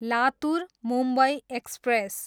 Latur, Mumbai express